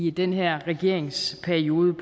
i den her regerings periode